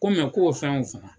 Ko mɛ k'o fɛnw faga.